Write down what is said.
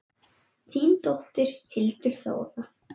Þín dóttir, Hildur Þóra.